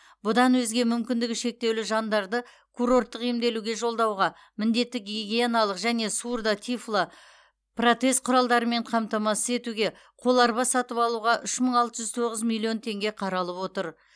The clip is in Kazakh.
бұдан өзге мүмкіндігі шектеулі жандарды курорттық емделуге жолдауға міндетті гигиеналық және сурдо тифло протез құралдарымен қамтамасыз етуге қоларба сатып алуға үш мың алты жүз тоғыз миллион теңге қаралып отыр